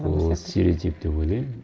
ол стереотип деп ойлаймын